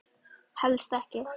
Helst ekki.